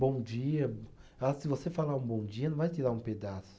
Bom dia, se você falar um bom dia, não vai tirar um pedaço.